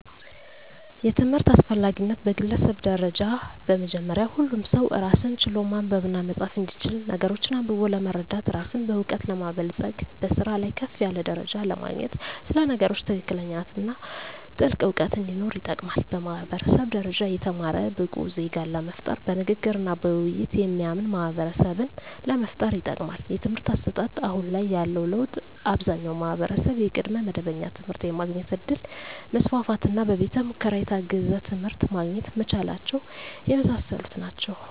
የትምህርት አስፈላጊነት በግለሰብ ደረጃ በመጀመሪያ ሁሉም ሰው ራስን ችሎ ማንበብና መፃፍ እንዲችል ነገሮችን አንብቦ ለመረዳት ራስን በእውቀት ለማበልፀግ በስራ ላይ ከፍ ያለ ደረጃ ለማግኘት ስለ ነገሮች ትክክለኛነትና ጥልቅ እውቀት እንዲኖር ይጠቅማል። በማህበረሰብ ደረጃ የተማረ ብቁ ዜጋን ለመፍጠር በንግግርና በውይይት የሚያምን ማህበረሰብን ለመፍጠር ይጠቅማል። የትምህርት አሰጣጥ አሁን ላይ ያለው ለውጥ አብዛኛው ማህበረሰብ የቅድመ መደበኛ ትምህርት የማግኘት እድል መስፋፋትና በቤተ ሙከራ የታገዘ ትምህርት ማግኘት መቻላቸው የመሳሰሉት ናቸው።